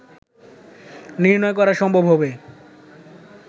নির্ণয় করা সম্ভব হবে